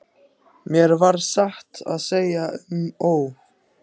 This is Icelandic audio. Mér varð satt að segja um og ó.